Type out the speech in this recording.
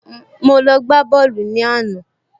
Mo lọ gbá bọ́ọ̀lù ní àná